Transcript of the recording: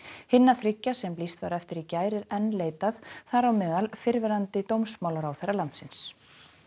hinna þriggja sem lýst var eftir í gær er enn leitað þar á meðal fyrrverandi dómsmálaráðherra landins